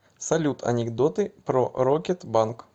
салют анекдоты про рокет банк